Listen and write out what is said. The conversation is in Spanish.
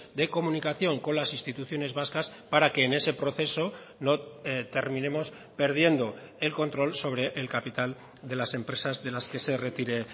de comunicación con las instituciones vascas para que en ese proceso no terminemos perdiendo el control sobre el capital de las empresas de las que se retire